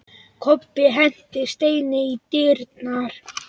Kobbi henti steini í dyrnar.